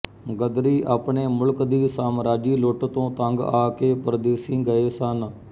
ਗ਼ਦਰੀ ਆਪਣੇ ਮੁਲਕ ਦੀ ਸਾਮਰਾਜੀ ਲੁੱਟ ਤੋਂ ਤੰਗ ਆ ਕੇ ਪਰਦੇਸੀਂ ਗਏ ਸਨ